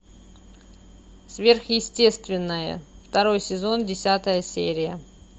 сверхъестественное второй сезон десятая серия